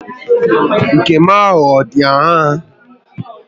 Nke m ahụ adị aṅaa?